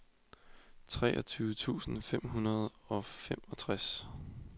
treogtyve tusind fem hundrede og femogtres